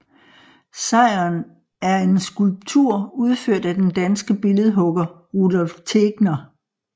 Sejren er en skulptur udført af den danske billedhugger Rudolph Tegner